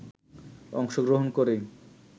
অংশগ্রহণ করেই